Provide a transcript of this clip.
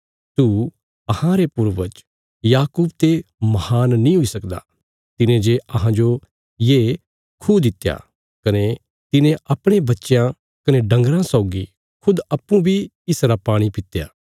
तू अहांरे पूर्वज याकूब ते महान नीं हुई सकदा तिने जे अहांजो ये खूह दित्या कने तिने अपणे बच्चयां कने डंगरां सौगी खुद अप्पूँ बी इसरा पाणी पित्या